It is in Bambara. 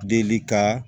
Deli ka